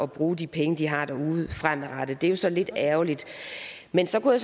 bruge de penge de har derude fremadrettet det er jo så lidt ærgerligt men så kunne